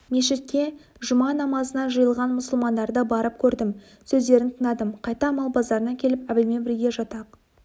мешітке жұма намазына жиылған мұсылмандарды барып көрдім сөздерін тыңдадым қайта мал базарына келіп әбілмен бірге жатақ